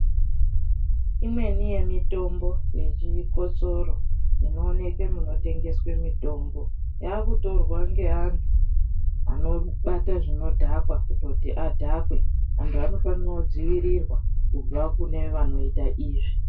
Imweni yemitombo yechikosoro inooneke munotengeswe mitombo, yaakutorwa ngeantu anobata zvinodhaka kutoti adhakwe. Antu anofanira kudzivirirwa kubva kune vanoita izvi.